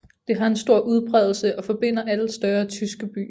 Det har en stor udbredelse og forbinder alle større tyske byer